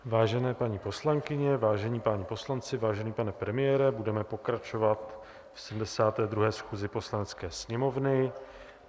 Vážené paní poslankyně, vážení páni poslanci, vážený pane premiére, budeme pokračovat v 72. schůzi Poslanecké sněmovny.